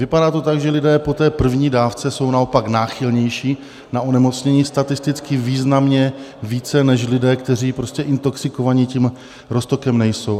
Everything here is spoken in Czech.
Vypadá to tak, že lidé po té první dávce jsou naopak náchylnější na onemocnění, statisticky významně více nežli lidé, kteří prostě intoxikovaní tím roztokem nejsou.